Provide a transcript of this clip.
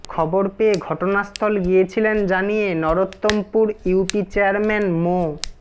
খবর পেয়ে ঘটনাস্থল গিয়েছিলেন জানিয়ে নরোত্তমপুর ইউপি চেয়ারম্যার মো